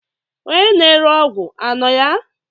Onye na-ere ọgwụ anọ ya?